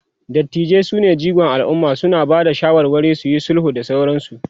dattijai sune jigon alumma, suna Bada shawarwari, suyi sulhu da sauransu